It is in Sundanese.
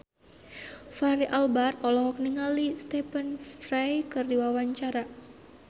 Fachri Albar olohok ningali Stephen Fry keur diwawancara